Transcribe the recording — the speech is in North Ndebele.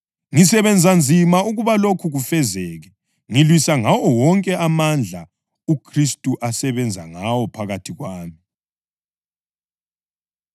Ngisebenza nzima ukuba lokhu kufezeke, ngilwisa ngawo wonke amandla uKhristu asebenza ngawo phakathi kwami.